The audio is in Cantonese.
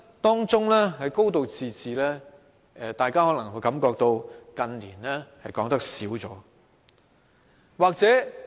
當中的"高度自治"，大家近年可能會感到說少了。